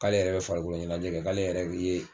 K'ale yɛrɛ bɛ farikolo ɲɛnajɛ kɛ, k'ale yɛrɛ bi ye